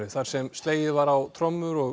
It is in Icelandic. þar sem slegið var á trommur og